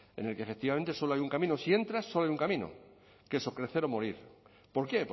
en el que efectivamente solo hay un camino si entras solo hay un camino que es o crecer o morir por qué